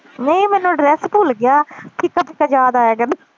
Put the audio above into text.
ਨਹੀਂ ਮੈਨੂੰ ਐਡਰੈੱਸ ਭੁੱਲ ਗਿਆ ਫਿੱਕਾ ਫਿੱਕਾ ਯਾਦ ਆਏਗਾ